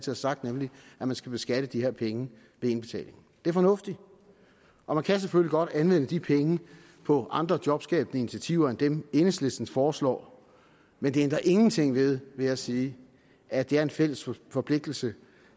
har sagt nemlig at man skal beskatte de her penge ved indbetalingen det er fornuftigt og man kan selvfølgelig godt anvende de penge på andre jobskabende initiativer end dem enhedslisten foreslår men det ændrer ingenting ved vil jeg sige at det er en fælles forpligtelse